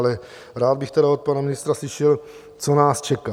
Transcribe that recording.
Ale rád bych tedy od pana ministra slyšel, co nás čeká.